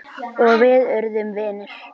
Og við urðum vinir.